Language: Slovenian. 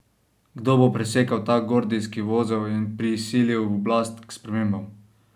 Kdo bo presekal ta gordijski vozel in prisilil oblast k spremembam?